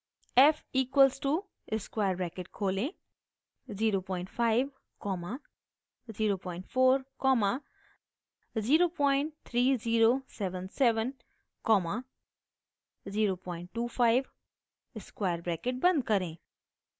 f equal to square bracket खोलें 05 comma 04 comma 03077 comma 025 square bracket बंद करें